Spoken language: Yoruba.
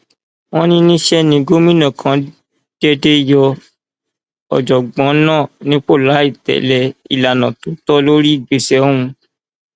wọn ní níṣẹ ní gómìnà kan déédé yọ ọjọgbọn náà nípò láì tẹlé ìlànà tó tọ lórí ìgbésẹ ọhún